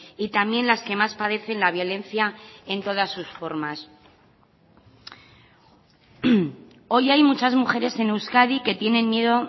y también las que más padecen la violencia en todas sus formas hoy hay muchas mujeres en euskadi que tienen miedo